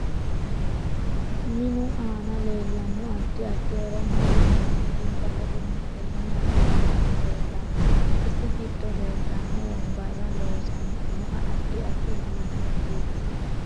Minu aana leelanno addi addi horo mannu mimitinsa ledo miteeni hasaawani leelanno isi giddo leeltanno wonbarra loosantinohu addi addi uduunichiniiti